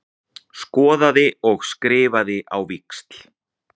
Skoðaði og skrifaði á víxl.